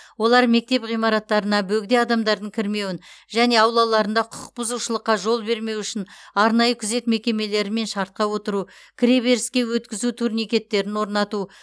олар мектеп ғимараттарына бөгде адамдардың кірмеуін және аулаларында құқық бұзушылыққа жол бермеу үшін арнайы күзет мекемелерімен шартқа отыру кіреберіске өткізу турникеттерін орнату